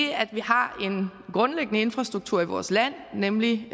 har en grundlæggende infrastruktur i vores land nemlig